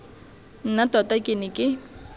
nna tota ke ne ke